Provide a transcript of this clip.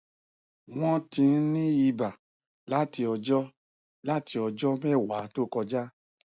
wọn ti ń ní iba láti ọjọ láti ọjọ mẹwàá tó kọjá